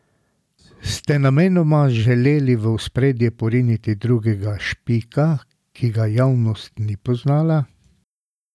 Ste namenoma želeli v ospredje poriniti drugega Špika, ki ga javnost ni poznala?